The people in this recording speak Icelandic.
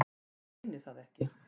Reyni það ekki.